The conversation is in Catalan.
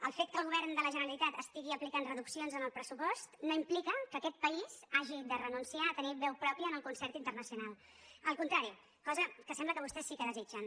el fet que el govern de la generalitat estigui aplicant reduccions en el pressupost no implica que aquest país hagi de renunciar a tenir veu pròpia en el concert internacional al contrari cosa que sembla que vostès sí que desitgen